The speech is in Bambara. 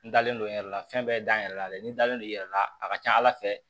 N dalen don n yɛrɛ la fɛn bɛɛ da n yɛrɛ la dɛ n dalen don i yɛrɛ la a ka ca ala fɛ